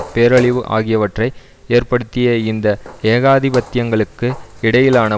பேரழிவு ஆகியவற்றை ஏற்படுத்திய இந்த ஏகாதிபத்தியங்களுக்கு இடையிலான